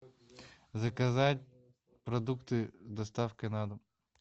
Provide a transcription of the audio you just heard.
заказать продукты с доставкой на дом